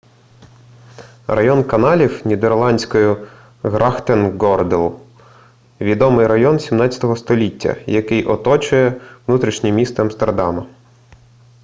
район каналів нідерландською: grachtengordel – відомий район 17 століття який оточує внутрішнє місто амстердама